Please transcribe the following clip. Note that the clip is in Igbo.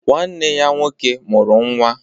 ..Nwanne ya nwoke mụrụ nwa